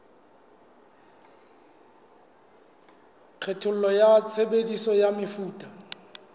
kgatello ya tshebediso ya mefuta